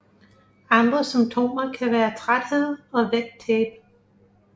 Andre symptomer kan være træthed og vægttab